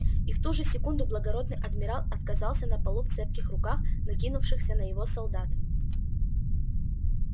и в ту же секунду благородный адмирал отказался на полу в цепких руках накинувшихся на его солдат